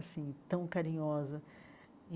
Assim, tão carinhosa.